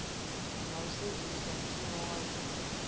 na u sedzulusa mushumo waṋu